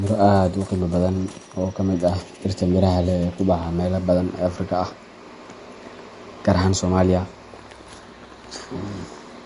miro aad u qiimo badan oo ka mid ah dhirta miraha leh ee ku baxa meelo badan oo Afrika ah, gaar ahaan Soomaaliya,